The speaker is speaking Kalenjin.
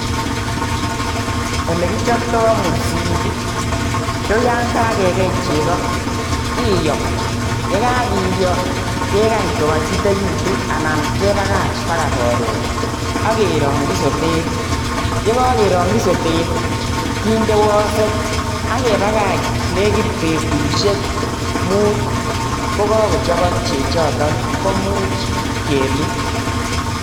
Olekichopto mursik ih ko yaan kakekei cheko kiyo, ak kegany kokaitit, kebakach baga koron akerangyi sotet akinde wasek akebakach nekit betusiek muut kokakochabsk chechoto komuch kelu